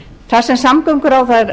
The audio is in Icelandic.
þar sem samgönguráðherra